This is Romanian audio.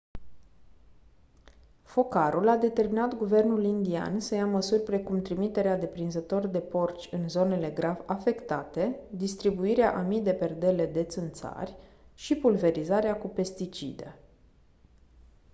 focarul a determinat guvernul indian să ia măsuri precum trimiterea de prinzători de porci în zonele grav afectate distribuirea a mii de perdele de țânțari și pulverizarea cu pesticide